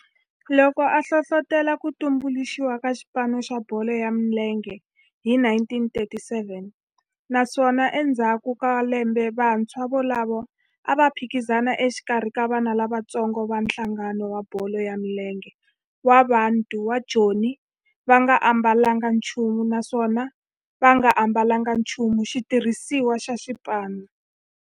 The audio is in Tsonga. loko a hlohlotela ku tumbuluxiwa ka xipano xa bolo ya milenge hi 1937 naswona endzhaku ka lembe vantshwa volavo a va phikizana exikarhi ka vana lavatsongo va nhlangano wa bolo ya milenge wa Bantu wa Joni va nga ambalanga nchumu naswona va nga ambalanga nchumu xitirhisiwa xa xipano.